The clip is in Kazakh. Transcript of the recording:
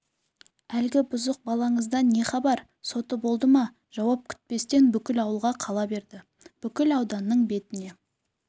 әлгі бұзық балаңыздан не хабар соты болды ма жауап күтпестен бүкіл ауылға қала берді бүкіл ауданның бетіне